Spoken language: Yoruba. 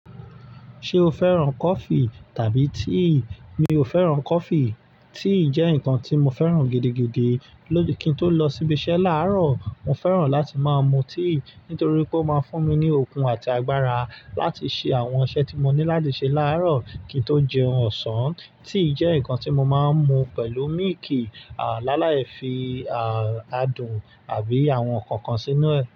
Ṣé o fẹ́ràn coffee tàbí tea? Mi ò fẹ́ràn coffee, tea jẹ́ nǹkan tí mo fẹ́ràn gidigidi. Kí n tó lọ síbi iṣẹ́ láàárọ̀, mo fẹ́ràn láti máa mu tea nítorí pé ó máa ń fún mi ní okun àti agbára láti ṣe àwọn iṣẹ́ tí mo ní láti ṣe láàárọ̀ kí n tó jẹun ọ̀sán. Tea jẹ́ nǹkan tí mo máa ń mu pẹ̀lú mílìkì, àláìláẹ̀fì, àádùn àbí àwọn nǹkan kan sínú ẹ̀